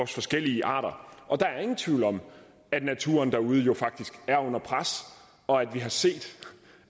forskellige arter og der er ingen tvivl om at naturen derude faktisk er under pres og at vi har set